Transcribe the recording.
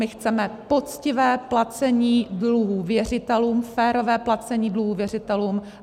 My chceme poctivé placení dluhů věřitelům, férové placení dluhů věřitelům.